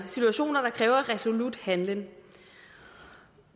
situationer der kræver resolut handling